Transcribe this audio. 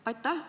Aitäh!